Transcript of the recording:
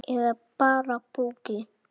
Eða bara púki.